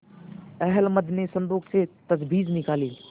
अहलमद ने संदूक से तजबीज निकाली